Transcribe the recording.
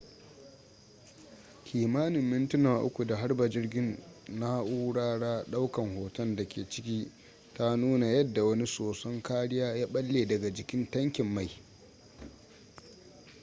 kimanin mintuna 3 da harba jirgin na'urara daukan hoton da ke ciki ta nuna yadda wani soson kariya ya balle daga jikin tankin mai